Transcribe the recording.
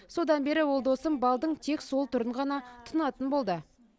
содан бері ол досым балдың тек сол түрін ғана тұтынатын болды